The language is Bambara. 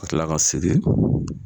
AKa kila ka siri